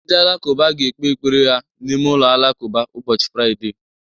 Ndị Alakụba ga-ekpe ekpere ha n'ime ụlọ alakụba ụbọchị Fraịde